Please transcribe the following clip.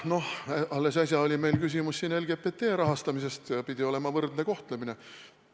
Alles äsja oli meil siin küsimus LGBT rahastamisest – pidi olema võrdne kohtlemine.